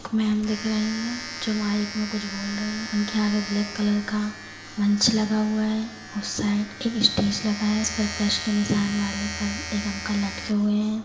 Ma'am दिख रही है जो माइक मे कुछ बोल रही है उनके आगे ब्लैक कलर का मंच लगा हुआ है उस साइड एक स्टेज लगा है इसपर प्लस के निशान वाले पर एक अंकल लटके हुए हैं।